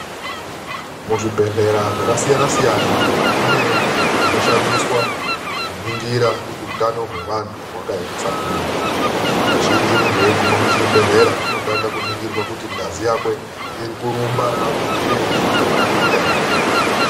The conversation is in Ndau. Muzvibhehlera zvakasiyana -siyana mune zvinoshandiswa kuningira kuti utano hwavantu hwakaemesa kudini. Kazhinji muntu eiguma muchibhehlera unotanga kuningirwa kuti ngazi yakwe iri kurumba marumbire ainofanira kuita ere?